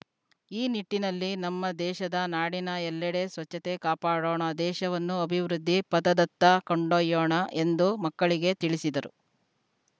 ಈ ನಿಟ್ಟಿನಲ್ಲಿ ನಮ್ಮ ದೇಶದ ನಾಡಿನ ಎಲ್ಲೆಡೆ ಸ್ವಚ್ಛತೆ ಕಾಪಾಡೋಣ ದೇಶವನ್ನು ಅಭಿವೃದ್ಧಿ ಪಥದತ್ತ ಕೊಂಡೊಯ್ಯೋಣ ಎಂದು ಮಕ್ಕಳಿಗೆ ತಿಳಿಸಿದರು